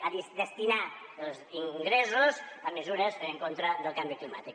a destinar els ingressos a mesures en contra del canvi climàtic